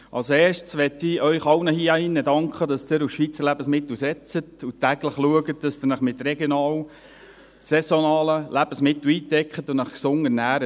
Als Erstes möchte ich Ihnen allen hier in diesem Saal danken, dass Sie auf Schweizer Lebensmittel setzen und täglich schauen, dass Sie sich mit regionalen, saisonalen Lebensmittel eindecken und sich gesund ernähren.